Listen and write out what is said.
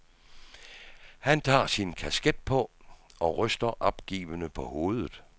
Han tager sin kasket på og ryster opgivende på hovedet.